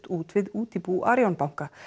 út við útibú Arionbanka